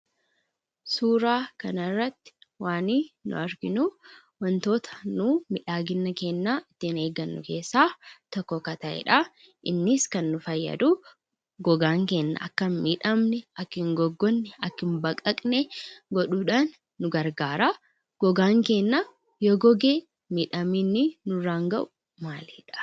Suuraa kanarratti waanii nu arginuu wantoota nu miidhagina keenna ittiin eeggannu keessaa tokko kan ta'e dha. innis ka nu fayyadu gogaan keenya akka hin miidhamne akka hin oggogne akka hin baqaqne godhuudhaan nu gargaara. Gogaan keenya yoo goge miidhaan inni nurraan gahu maali?